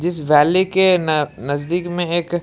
जिस वैली के न नजदीक में है एक--